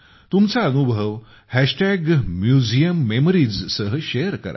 तुमचा अनुभव MuseumMemoriesसह शेअर करा